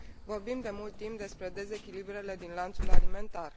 Vorbim de mult timp despre dezechilibrele din lanțul alimentar.